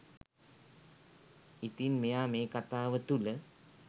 ඉතින් මෙයා මේ කතාව තුළ